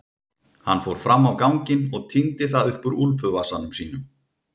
Hann fór fram á ganginn og tíndi það upp úr úlpuvasanum sínum.